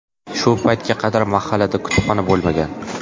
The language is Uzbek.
Shu paytga qadar mahallada kutubxona bo‘lmagan.